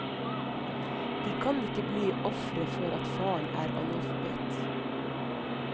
De kan ikke bli ofre for at faren er analfabet.